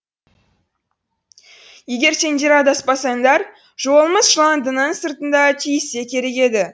егер сендер адаспасаңдар жолымыз жыландының сыртында түйіссе керек еді